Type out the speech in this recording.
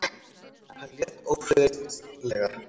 Hann lét ófriðlega.